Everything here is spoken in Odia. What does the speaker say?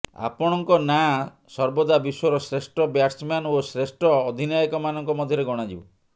ଆପଣଙ୍କ ନାଁ ସର୍ବଦା ବିଶ୍ୱର ଶ୍ରେଷ୍ଠ ବ୍ୟାଟସମ୍ୟାନ ଓ ଶ୍ରେଷ୍ଠ ଅଧିନାୟକମାନଙ୍କ ମଧ୍ୟରେ ଗଣାଯିବ